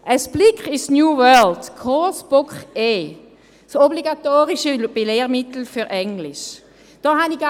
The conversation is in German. Ein Blick ins «New World – Coursebook E», das obligatorische Lehrmittel für Englisch, hat gezeigt: